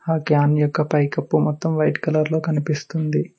Can యొక్క పైకప్పు మొత్తం వైట్ కలర్లో కనిపిస్తుంది.